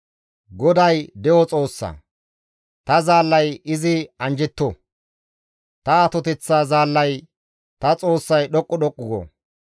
«GODAY de7o Xoossa; ta zaallay izi anjjetto; ta atoteththa zaallay ta Xoossay dhoqqu dhoqqu go.